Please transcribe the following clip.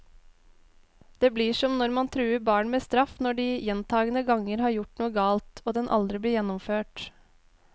Det blir som når man truer barn med straff når de gjentagende ganger har gjort noe galt, og den aldri blir gjennomført.